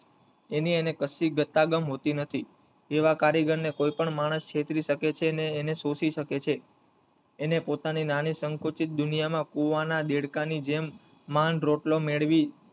એની એને કશી ગતાગમ હોતી નથી એવા કારીગર ને કોઈ પણ માણસ છેતરી શકે છે અને એને શોશી શકે છે એને પોતાની નાની સંકુચિત દુનિયામાં કુવા ના દેડકાની જેમ માંડ રોટલો મેળવી,